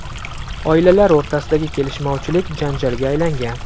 Oilalar o‘rtasidagi kelishmovchilik janjalga aylangan.